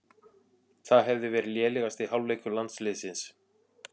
Það hefði verið lélegasti hálfleikur landsliðsins